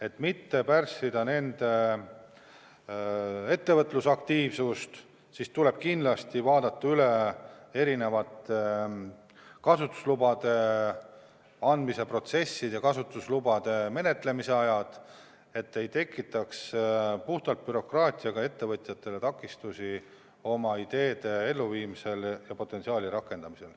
Et mitte pärssida nende ettevõtlusaktiivsust, tuleb kindlasti vaadata üle erinevate kasutuslubade andmise protsessid ja kasutuslubade menetlemise ajad, et puhtalt bürokraatiaga ei tekitataks ettevõtjatele takistusi oma ideede elluviimisel ja potentsiaali rakendamisel.